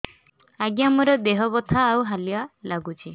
ଆଜ୍ଞା ମୋର ଦେହ ବଥା ଆଉ ହାଲିଆ ଲାଗୁଚି